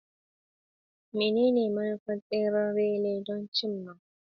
Menene manufar tseren relay don cim ma?